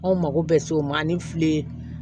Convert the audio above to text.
Anw mako bɛ se o ma ani fili